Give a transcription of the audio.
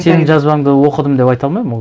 сенің жазбаңды оқыдым деп айта алмаймын ол